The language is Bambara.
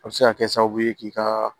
A bɛ se ka kɛ sababu ye k'i ka